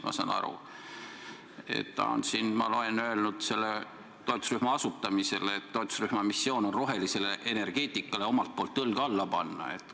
Ma saan aru, et ta on öelnud selle toetusrühma asutamisel, et toetusrühma missioon on rohelisele energeetikale omalt poolt õlg alla panna.